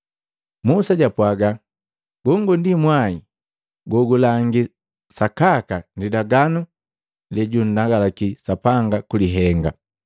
Musa japwaga: “Gongo ndi mwai gogulangi sakaka lilaganu lejunndagalaki Sapanga kulihenga.”